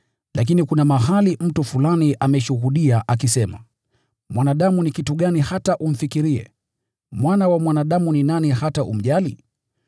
Lakini kuna mahali mtu fulani ameshuhudia akisema: “Mwanadamu ni kitu gani hata unamfikiria, binadamu ni nani hata unamjali?